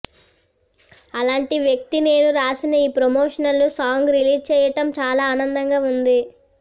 అలాంటి వ్యక్తి నేను రాసిన ఈ ప్రమోషనల్ సాంగ్ రిలీజ్ చేయటం చాలా ఆనందంగా ఉంది